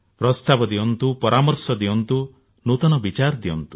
ପ୍ରସ୍ତାବ ଦିଅନ୍ତୁ ପରାମର୍ଶ ଦିଅନ୍ତୁ ନୂତନ ବିଚାର ଦିଅନ୍ତୁ